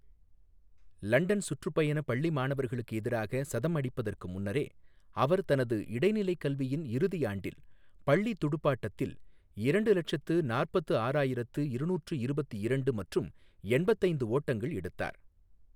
London சுற்றுப்பயண பள்ளி மாணவர்களுக்கு எதிராக சதம் அடிப்பதற்கு முன்னரே, அவர் தனது இடைநிலைக் கல்வியின் இறுதி ஆண்டில் பள்ளி துடுப்பாட்டத்தில் இரண்டு லட்சத்து நாற்பத்து ஆறாயிரத்து இருநூற்று இருபத்து இரண்டு மற்றும் எண்பத்து ஐந்து ஓட்டங்கள் எடுத்தார்.